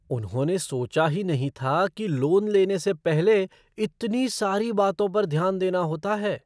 उन्होंने सोचा ही नहीं था कि लोन लेने से पहले इतनी सारी बातों पर ध्यान देना होता है!